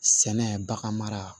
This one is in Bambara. Sɛnɛ bagan mara